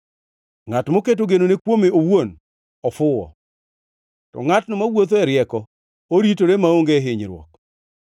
Ngʼat moketo genone kuome owuon ofuwo, to ngʼatno mawuotho e rieko, oritore maonge hinyruok.